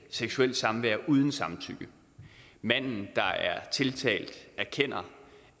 seksuelt samvær uden samtykke manden der er tiltalt erkender